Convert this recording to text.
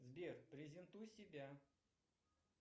сбер презентуй себя